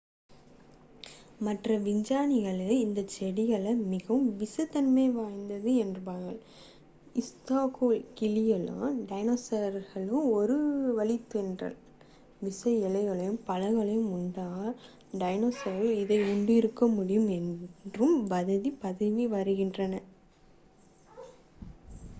மற்ற விஞ்ஞானிகள் இந்த செடிகள் மிகவும் விஷத்தன்மை வாய்ந்தவை என்றும் ஸ்லாத்துக்களும் கிளிகளும் டைனோஸர்களின் ஒரு வழித்தோன்றல் விஷ இலைகளையும் பழங்களையும் உண்டாலும் டைனோஸர்கள் இதை உண்டிருக்க முடியாது என்றும் வாதிடுகிறார்கள்